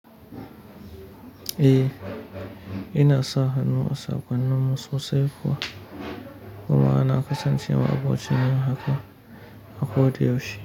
Eh, ina sa hannu a saƙonnin mu sosai kuwa. Dama nafi sa hannu a saƙonni, a ko da yaushe.